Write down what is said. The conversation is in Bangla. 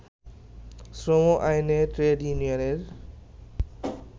শ্রম আইনে ট্রেড ইউনিয়নের